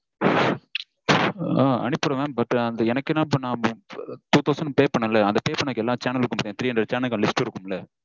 ஆ அனுப்பிடுவேன் mam. but எனக்கு என்ன இப்போ two thousand pay பண்ணினேன்ல அந்த pay பண்ணின எல்லா சேனல்க்கு three hundred channel க்கான list இருக்கும்ல?